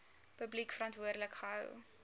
publiek verantwoordelik gehou